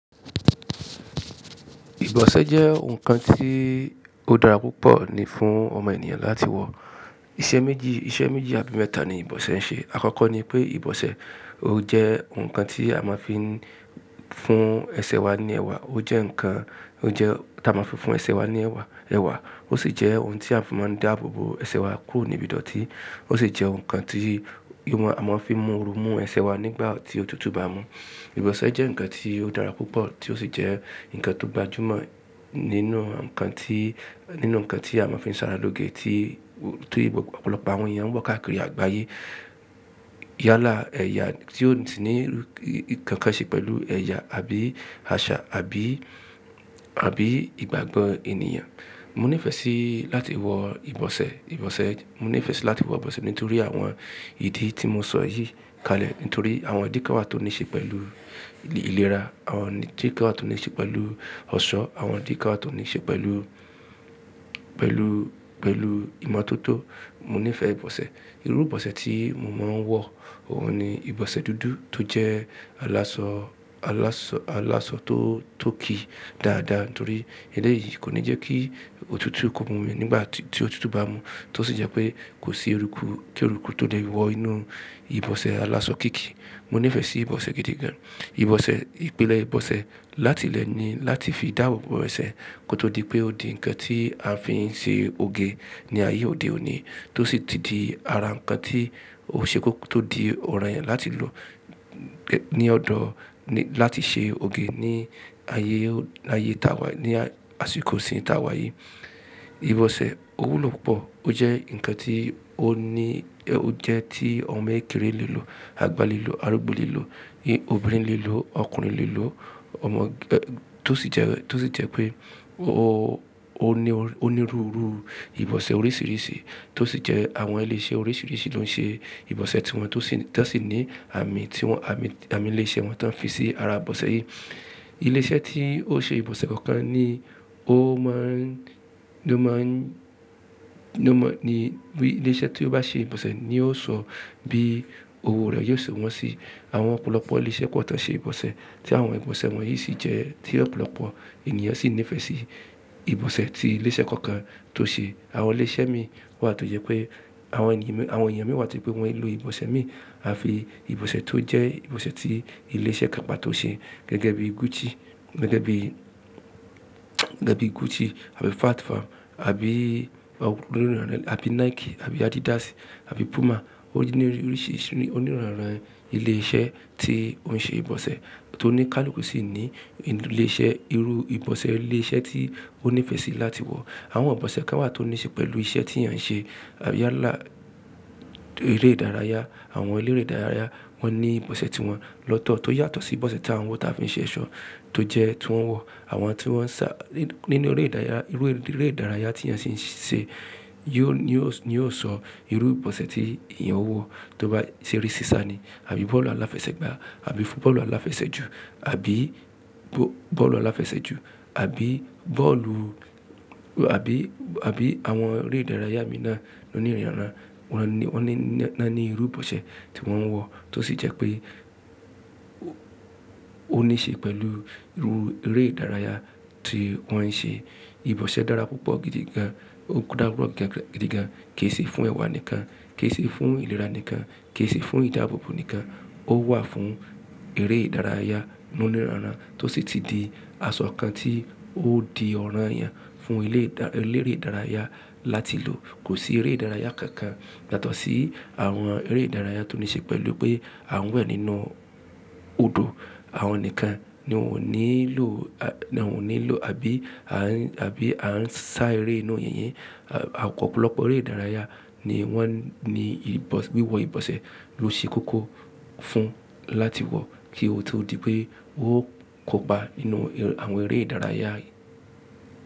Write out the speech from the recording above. Ìbọ̀sẹ̀ jẹ́ ohun kan tí ó dára púpọ̀ ni fún ọmọ ènìyàn láti wọ̀. Iṣẹ́ méjì, iṣẹ́ méjì àbí mẹ́ta ni ìbọ̀sẹ̀ ń ṣe. Àkọ́kọ́ ni pé ìbọ̀sẹ̀ ó jẹ́ ohun kan tí a máa ń fi fún ẹsẹ̀ wa ní ẹwà, ó jẹ́ ǹkan, ó jẹ́ tá a máa ń fi fún ẹsẹ̀ wa ní ẹwà, ẹwà. Ó sì jẹ́ ohun tí a fi máa ń dáàbòbò ẹsẹ̀ wa kúrò níbi ìdọ̀tí. Ó sì jẹ́ ohun kan tí ìwọ̀n a máa ń fi mú òru mú ẹsẹ̀ wa nígbà tí ótutù bá mu. Ìbọ̀sẹ̀ jẹ́ ǹkan tí ó dára púpọ̀ tí ó sì jẹ́ ǹkan tó gbajúmọ̀ nínú ǹkan tí, nínú ǹkan tí a máa ń fi ń ṣàrálòge tí tó je pe ọ̀pọ̀lọpọ̀ àwọn èèyàn ń wọ káàkiri àgbáyé. Yálà ẹ̀yà tí ó sì ní nkankan ṣe pẹ̀lú ẹ̀yà àbí àṣà, àbí, àbí ìgbàgbọ́ ènìyàn. Mo nífẹ̀ẹ́ sí láti wọ ìbọ̀sẹ̀, ìbọ̀sẹ̀, mo nífẹ̀ẹ́ si láti wọ ìbọ̀sẹ̀ nítorí àwọn ìdí tí mo sọ yìí kalẹ̀ nítorí àwọn ìdí kán wà tó níí ṣe pẹ̀lú ìlera, àwọn ìdí kán wà tó níí ṣe pẹ̀lú ọ̀ṣọ́, àwọn ìdí kán wà tó níí ṣe pẹ̀lú, pẹ̀lú, pẹ̀lú ìmọ̀tótó. Mo nífẹ̀ẹ́ ìbọ̀sẹ̀. Irú ìbọ̀sẹ̀ tí mo máa ń wọ, òun ni ìbọ̀sẹ̀ dúdú tó jẹ́ alásọ, alásọ, alásọ tó, tó ki dáadáa nítorí eléyìí kò ní jẹ́ kí òtútù kó mú mi nígbà tí, tí òtútù bá mu. Tó sì jẹ́ pé kò sí eruku, kí eruku tó lè wọ inú ìbọ̀sẹ̀ alásọ kíki. Mo nífẹ̀ẹ́ sí ìbọ̀sẹ̀ gidi gan. Ìbọ̀sẹ̀, ìpìlẹ̀ ìbọ̀sẹ̀ láti ilẹ̀ ni láti fi dáàbòbò ẹsẹ̀ kó tó di pé ó di ǹkan tí a fi ń ṣe òge ní ayé òde òní tó sì ti di ara ǹkan tí ò ṣe kó tó di ọ̀rànyan láti lò ní ọ̀dọ̀ ni láti ṣe òge ní ayé, ní ayé taa wa, ní àsìkò ìsìn taa wa yìí. Ìbọ̀sẹ̀ ò wúlò púpọ̀, ó jẹ́ ǹkan tí ó ní, ó jẹ́ tí ọmọ kekere lè lò, àgbà lè lò, arúgbó lè lò, obìnrin lè lò, ọkùnrin lè lò, ọmọ, tó sì jẹ́, tó sì jẹ́ pé ó, ó ní, ó ní ru ru ìbọ̀sẹ̀ oríṣiríṣi tó sì jẹ́ àwọn ile ise oríṣiríṣi ló ń ṣe ìbọ̀sẹ̀ tí wọ́n tó sì, ti won sì ní àamì tí wọ́n, àmì, àmì ile ise wọn ti won fi sí ara ìbọ̀sẹ̀ yìí. Ile ise tí ó ṣe ìbọ̀sẹ̀ kookan ni ó máa ń, ló máa ń, ló mọ̀ ni, wí ile ise tí ó bá ṣe ìbọ̀sẹ̀ ni yóò sọ bí òwò rẹ̀ yóò ṣe wọ́n sí. Àwọn ọ̀pọ̀lọpọ̀ ile ise pọ̀ ti won ṣe ìbọ̀sẹ̀ tí àwọn ìbọ̀sẹ̀ wọ̀nyí sì jẹ́ tí ọ̀pọ̀lọpọ̀ ènìyàn sì nífẹ̀ẹ́ sí ìbọ̀sẹ̀ tí ile ise kookan tó ṣe. Àwọn ile ise miibwà tó jẹ́ pé àwọn ènìyàn mi, àwọn èèyàn mi wà tó je pé wọn kii lo ìbọ̀sẹ̀ mi àfi ìbọ̀sẹ̀ tó jẹ́ ìbọ̀sẹ̀ tí ile ise kan pató ṣe gẹ́gẹ́ bí Gucci, gẹ́gẹ́ bí, gẹ́gẹ́ bí Gucci àbí Fat Farm àbí àbí Nike àbí Adidas àbí Puma. Ó ní oríṣiríṣi, ó níranran ilé iṣẹ́ tí ó ń ṣe ìbọ̀sẹ̀ tó ní káluku sí ní ilé iṣẹ́ irú ìbọ̀sẹ̀ ilé iṣẹ́ tí ó nífẹ̀ẹ́ sí láti wọ̀. Àwọn ìbọ̀sẹ̀ kán wà tó níí ṣe pẹ̀lú iṣẹ́ tí èèyàn ń ṣe. Àbí yálà eré ìdárayá, àwọn eleré ìdárayá wọ́n ní ìbọ̀sẹ̀ ti wọn lọ́tọ̀ tó yàtọ̀ sí ìbọ̀sẹ̀ tí à ń wọ táa fi n ṣe eso, tó jẹ́ tí wọ́n wọ̀. Àwọn tí wọ́n ń sá nínú eré ìdárayá, irú eré ìdárayá tí èèyàn sì ń ṣe yóò, yóò sọ irú ìbọ̀sẹ̀ tí èèyàn ó wọ tó bá ṣe eré sísá ni àbí bọ́ọ̀lù aláfẹsẹ̀gbá àbí football aláfẹsẹ̀ju àbí bọ́ọ̀lù aláfẹsẹ̀ju àbí bọ́ọ̀lù àbí, àbí àwọn eré ìdárayá mìíràn ló níranran. Wọ́n ní, wọ́n níranran ní irú ìbọ̀sẹ̀ tí wọ́n ń wọ tó sì jẹ́ pé ó níí ṣe pẹ̀lú irú eré ìdárayá tí wọ́n ń ṣe. Ìbọ̀sẹ̀ dára púpọ̀ gidi gan, ó dára pupo gidi gan, kì í sì fún ẹwà nìkan, kì í sì fún ìlera nìkan, kì í se fún ìdáàbòbò nìkan. Ó wà fún eré ìdárayá ló níranran tó sì ti di asọ kan tí ó di ọ̀rànyan fún ilé ìdá, eleré ìdárayá láti lò. Kò sí eré ìdárayá kankan yàtọ̀ sí àwọn eré ìdárayá tó níí ṣe pẹ̀lú pé à n we nínú odò, àwọn nìkan ni wọn ò nílò, à ní wọn ò nílò àbí à ń, àbí à ń sá eré inú yìnyín. Opọ̀pọ̀lọpọ̀ eré ìdárayá ni wọ́n ni ìbọ̀, wiwọ ìbọ̀sẹ̀ ló ṣe kókó fún láti wọ̀ kí ó tó di pé ó kòpá nínú àwọn eré ìdárayá yìí.